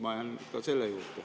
Ma jään selle juurde.